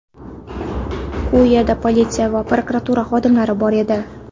U yerda politsiya va prokuratura xodimlari bor edi.